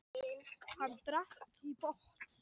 Hann drakk í botn.